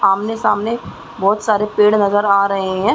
आमने सामने बहोत सारे पेड़ नज़र आ रहे है।